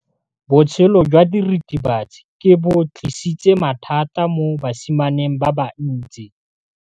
Botshelo jwa diritibatsi ke bo tlisitse mathata mo basimaneng ba bantsi.